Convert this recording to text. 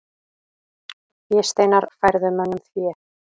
Fésteinar færðu mönnum fé.